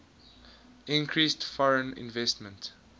increased foreign investment